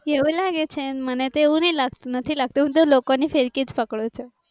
એવું લાગે છે મને તો એવું નથી લાગતું હું તો લોકો ની ફિરકીજ પકડું છું